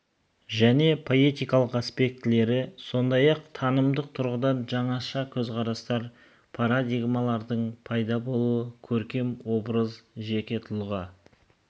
және поэтикалық аспектілері сондай-ақ танымдық тұрғыдан жаңаша көзқарастар парадигмалардың пайда болуы көркем образ жеке тұлға